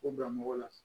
O bila mɔgɔ la